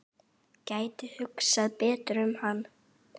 Gæti hugsað betur um hann.